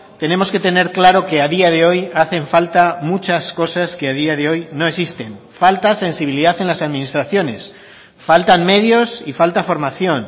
tenemos que tener claro que a día de hoy hacen falta muchas cosas que a día de hoy no existen falta sensibilidad en las administraciones faltan medios y falta formación